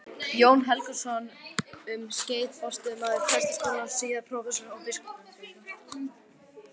Jón Helgason, um skeið forstöðumaður Prestaskólans, síðar prófessor og biskup.